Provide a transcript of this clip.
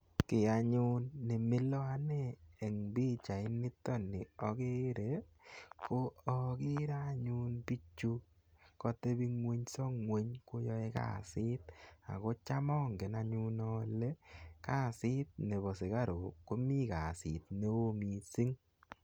Ki anyun ne mila ane eng' pichainitani akere ko akere anyun pichu kateping'unysa ng'uny koyae kasit ako cham angen anyun ale kasit nepo sikaruk ko mi kasit ne oo missing'.